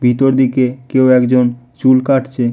ভিতর দিকে কেও একজন চুল কাটছে।